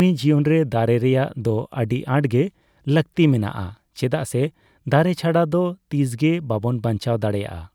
ᱢᱟᱹᱱᱢᱤ ᱡᱤᱭᱚᱱᱨᱮ ᱫᱟᱨᱮ ᱨᱮᱭᱟᱜ ᱫᱚ ᱟᱹᱰᱤ ᱟᱸᱴᱜᱮ ᱞᱟᱹᱠᱛᱤ ᱢᱮᱱᱟᱜᱼᱟ ᱾ ᱪᱮᱟᱜᱥᱮ ᱫᱟᱨᱮ ᱪᱷᱟᱲᱟ ᱫᱚ ᱛᱤᱥᱜᱮ ᱵᱟᱵᱚᱱ ᱵᱟᱧᱪᱟᱣ ᱫᱟᱲᱮᱭᱟᱜᱼᱟ ᱾